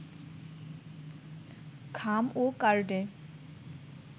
খাম ও কার্ডে